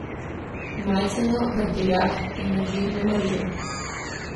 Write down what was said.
Majceno, Vrtiljak, in nevidno, Marijo.